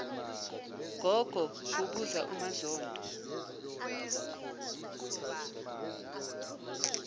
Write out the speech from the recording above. gogo kubuza umazondo